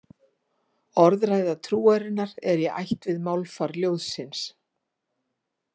Orðræða trúarinnar er í ætt við málfar ljóðsins.